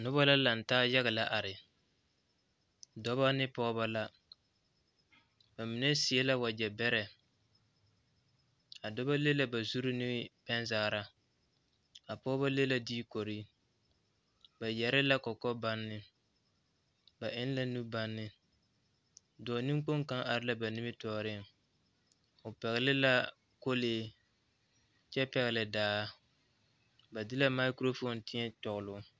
Yie la taa koɔ ka lɔɔpelaa be a koɔ poɔ ka bie do are a lɔre zu kyɛ seɛ kurisɔglaa kyɛ yage o kparoŋ ka teere meŋ are a yie puori seŋ kyɛ ka vūūmie meŋ a wa gaa.